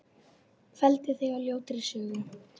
Felldi þig á ljótri sögu.